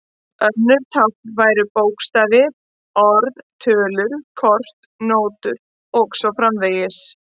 Önnur tákn væru bókstafir, orð, tölur, kort, nótur og svo framvegis.